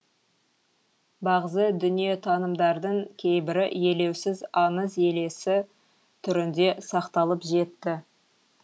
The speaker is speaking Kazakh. бағзы дүниетанымдардың кейбірі елеусіз аңыз елесі түрінде сақталып жетті